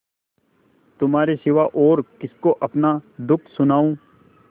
तुम्हारे सिवा और किसको अपना दुःख सुनाऊँ